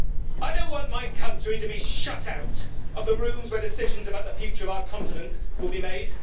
I don't want my country to be shut out of the rooms where decisions about the future of our continent will be made.